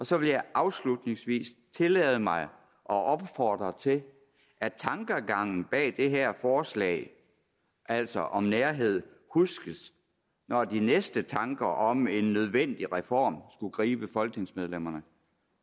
så vil jeg afslutningsvis tillade mig at opfordre til at tankegangen bag det her forslag altså om nærhed huskes når de næste tanker om en nødvendig reform skulle gribe folketingsmedlemmerne